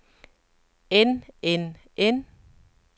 end end end